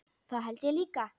Það held ég líka